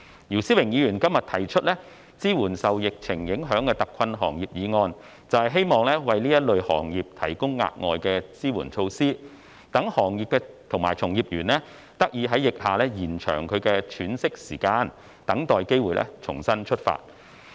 姚思榮議員今日提出"支援受疫情影響的特困行業"議案，便是希望為這類行業提供額外的支援措施，讓行業及從業員得以在疫下延長其喘息時間，等待機會重新出發。